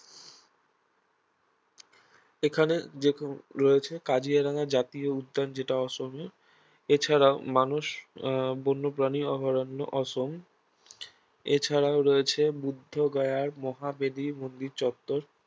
এখানে যেরকম রয়েছে কাজিরাঙা জাতীয় উদ্যান যেটা অসমে এছাড়াও মানুষ আহ বন্যপ্রাণী অভয়ারণ্য অসম এছাড়াও রয়েছে বুদ্ধগয়ার মহাবোধি মন্দির চত্বর